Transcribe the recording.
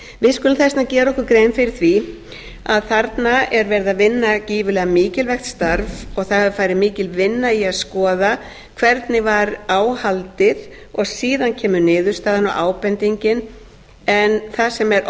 við skulum þess vegna gera okkur grein fyrir því að þarna er verið að vinna gífurlega mikilvægt starf og það hefur farið mikil vinna í að skoða hvernig var á haldið og síðan kemur niðurstaðan og ábendingin en það sem er